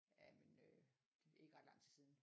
Jamen øh det er ikke ret lang tid siden